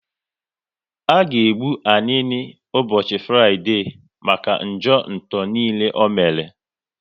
A ga egbu Anini ụbọchị Fraịdee maka njọ nto niile o mere